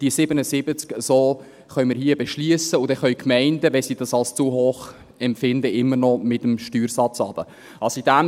Diese 77 Prozent können wir hier im Grossen Rat beschliessen, und dann können die Gemeinden, wenn sie es als zu hoch empfinden, mit dem Steuersatz immer noch runtergehen.